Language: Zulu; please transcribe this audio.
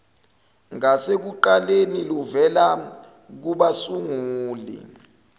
ngasekuqaleni luvela kubasunguli